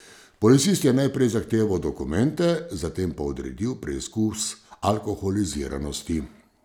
Policist je najprej zahteval dokumente, zatem pa odredil preizkus alkoholiziranosti.